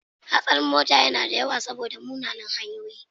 Hatsarin mota yana da yawa saboda munanan hanyoyi.